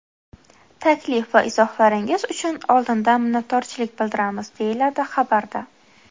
Taklif va izohlaringiz uchun oldindan minnatdorchilik bildiramiz”, deyiladi xabarda.